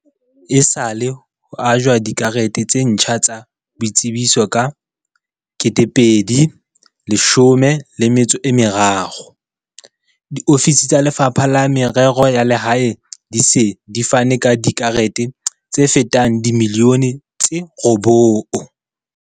Esale ho ajwa dikarete tse ntjha tsa boitsebiso ka 2013, diofisi tsa Lefapha la Merero ya Lehae di se di fane ka dikarete tse fetang dimiliyone tse robong.